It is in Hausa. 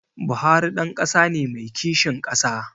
Buhari ɗan ƙasa ne mai kishin ƙasa